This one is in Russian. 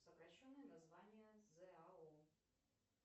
сокращенное название зао